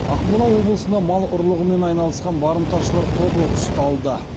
ақмола облысына мал ұрлығымен айналысқан барымташылар тобы ұсталды